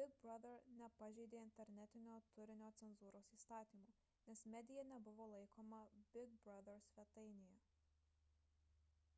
big brother nepažeidė internetinio turinio cenzūros įstatymų nes medija nebuvo laikoma big brother svetainėje